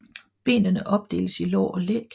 Benene opdeles i lår og læg